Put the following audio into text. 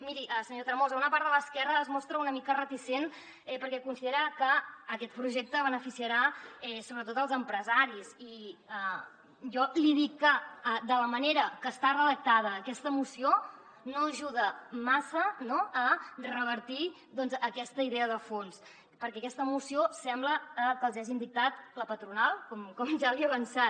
miri senyor tremosa una part de l’esquerra es mostra una mica reticent perquè considera que aquest projecte beneficiarà sobretot els empresaris i jo li dic que de la manera que està redactada aquesta moció no ajuda massa no a revertir aquesta idea de fons perquè aquesta moció sembla que els hi hagin dictat la patronal com ja li he avançat